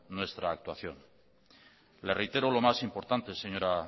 nuestra actuación le reitero lo más importante señora